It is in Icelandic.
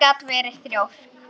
Hún gat verið þrjósk.